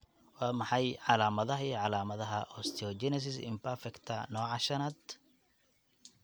Waa maxay calaamadaha iyo calaamadaha Osteogenesis imperfecta nooca V?